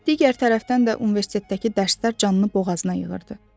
Digər tərəfdən də universitetdəki dərslər canını boğazına yığırdı.